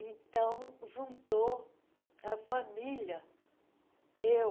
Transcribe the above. Então, juntou a família, eu,